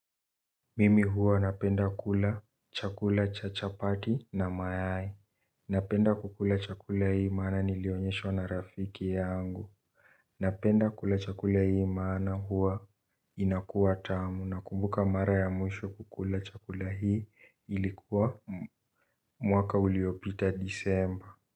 Mimi huwa napenda kula chakula cha chapati na mayai. Napenda kukula chakula hii maana nilionyeshwa na rafiki yangu. Napenda kukula chakula hii maana huwa inakuwa tamu na kumbuka mara ya mwisho kukula chakula hii ilikuwa mwaka uliopita disemba.